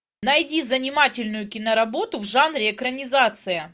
найди занимательную киноработу в жанре экранизация